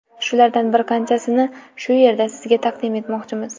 Shulardan bir qanchasini shu yerda sizga taqdim etmoqchimiz.